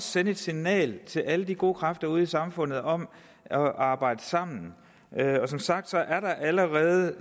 sende et signal til alle de gode kræfter ude i samfundet om at arbejde sammen som sagt er der allerede